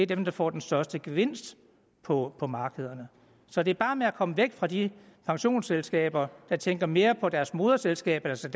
dem der får den største gevinst på på markederne så det er bare med at komme væk fra de pensionsselskaber der tænker mere på deres moderselskab altså